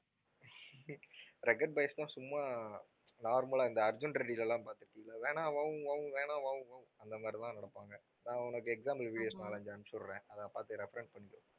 rugged boys ன்னா சும்மா normal லா இந்த அர்ஜூன் ரெட்டில எல்லாம் பார்த்திருக்கீல அந்த மாதிரிதான் நடப்பாங்க. நான் உனக்கு example videos நாலு, அஞ்சு அனுப்பிச்சு விடுறேன் அதைப் பார்த்து reference பண்ணிக்கோ